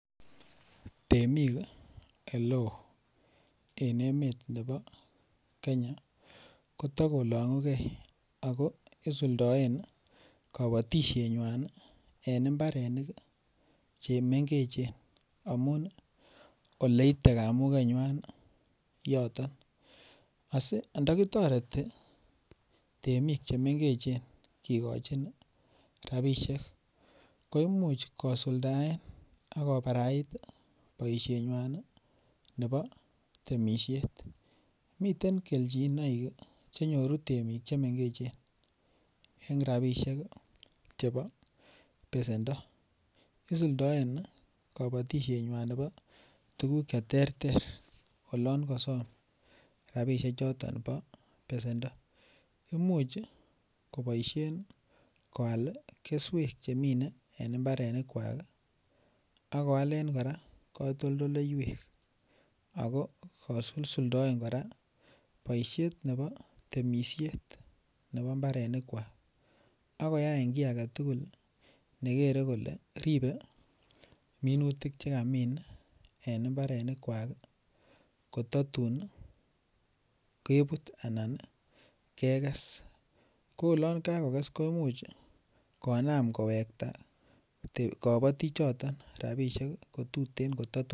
Temik Oleo en emet nebo Kenya koto kolungugei ako isuldoen kabatisienywan en mbarenik Che mengechen amun Ole ite kamugenywa yoto ando kitoreti temik Che mengechen kigochin rabisiek ko Imuch kosuldaen ak kobarait boisienywan nebo temisiet miten kelchinoik Che nyoru temik Che mengechen en rabisiek chebo besendo isuldoen kabatisienywan nebo tuguk Che terter oloon kosom rabisiechuto bo besendo Imuch koboisien koal keswek Che minee en mbarenikwak ak koalen kora katoldoleywek ako isuldoen kora boisiet nebo temisiet en mbarenikwak ak koyai ki age tugul koger kole minutik Che kamin en mbarenikwak ko tatun kebut anan keges ko oloon kagoges konam kowekta kabatik ko tuten ko tatun kotar